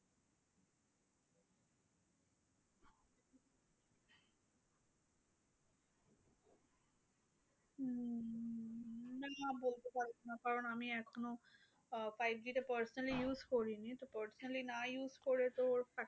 না বলতে পারবো না। কারণ আমি এখনো আহ five G টা personally use করিনি। তো personally না use করে তো ওর